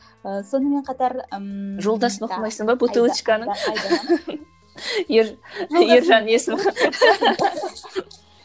ы сонымен қатар ммм жолдасын оқымайсың ба бутылочканың ержан